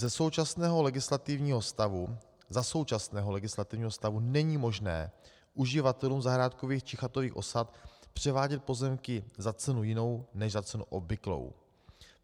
Za současného legislativního stavu není možné uživatelům zahrádkových či chatových osad převádět pozemky za cenu jinou než za cenu obvyklou.